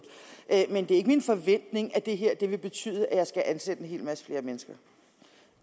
men det er ikke min forventning at det her vil betyde at jeg vil skulle ansætte en hel masse flere mennesker